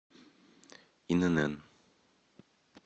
инн